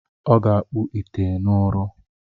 Ọ ga-akpụ ite n’ụrọ.